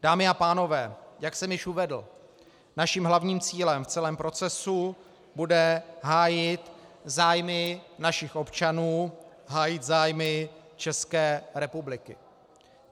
Dámy a pánové, jak jsem již uvedl, naším hlavním cílem v celém procesu bude hájit zájmy našich občanů, hájit zájmy České republiky.